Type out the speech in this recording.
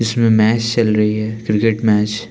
जिसमें मैच चल रही है क्रिकेट मैच ।